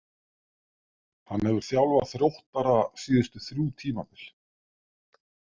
Hann hefur þjálfað Þróttara síðustu þrjú tímabil.